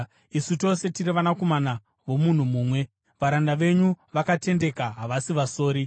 Isu tose tiri vanakomana vomunhu mumwe. Varanda venyu vakatendeka, havasi vasori.”